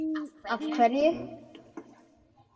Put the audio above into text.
Af hverju?